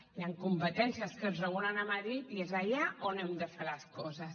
hi han competències que es regulen a madrid i és allà on hem de fer les coses